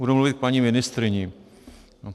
Budu mluvit k paní ministryni.